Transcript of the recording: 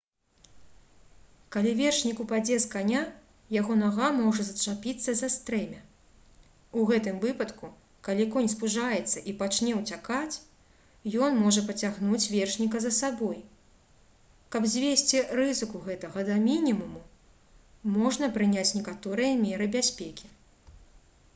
калі вершнік упадзе з каня яго нага можа зачапіцца за стрэмя у гэтым выпадку калі конь спужаецца і пачне ўцякаць ён можа пацягнуць вершніка за сабой каб звесці рызыку гэтага да мінімуму можна прыняць некаторыя меры бяспекі